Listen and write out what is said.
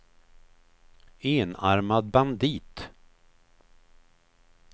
enarmad bandit